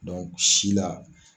si la